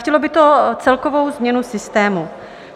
Chtělo by to celkovou změnu systému.